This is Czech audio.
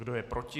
Kdo je proti?